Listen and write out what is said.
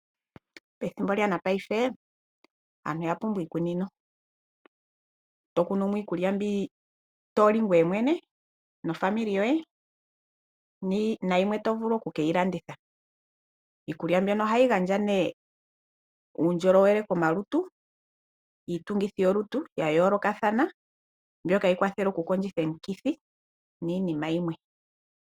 Pethimbo lyongashingeyi aantu oya pumbwa iikunino, to kunu mo iikulya mbi to li ngweye mwene naakwanezimo yoye nayimwe to vulu oku ke yi landitha. Iikulya mbyono ohayi gandja nee uundjolowele komalutu, iitungithi yolutu ya yoolokathana mbyoka tayi kwathele okukondjitha omikithi niinima yimwe.